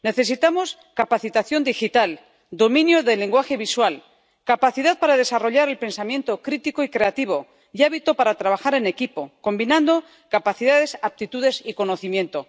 Necesitamos capacitación digital, dominio del lenguaje visual, capacidad para desarrollar el pensamiento crítico y creativo y hábito para trabajar en equipo, combinando capacidades, aptitudes y conocimiento.